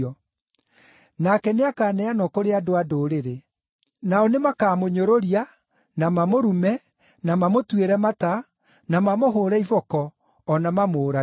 Nake nĩakaneanwo kũrĩ andũ-a-Ndũrĩrĩ. Nao nĩ makaamũnyũrũria, na mamũrume, na mamũtuĩre mata, na mamũhũũre iboko, o na mamũũrage.